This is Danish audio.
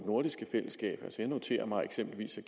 fællesskab jeg noterer mig eksempelvis at